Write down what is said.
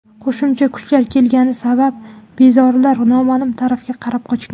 Qo‘shimcha kuchlar kelgani sabab bezorilar noma’lum tarafga qarab qochgan.